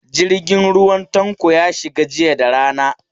Jirgin ruwa Tanko ya shiga jiya da rana.